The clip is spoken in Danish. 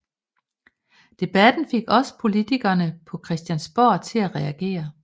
Debatten fik også politikerne på Christiansborg til at reagere